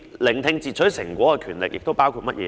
聆聽截取成果的權力包括甚麼呢？